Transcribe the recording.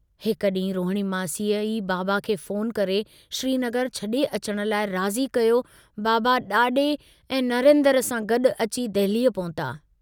हिक डींहुं रोहणी मासीअ ई बाबा खे फ़ोन करे श्रीनगर छड़े अचण लाइ राज़ी कयो बाबा डाडे ऐं नरेन्द्र सां गडु अची दहलीअ पहुता।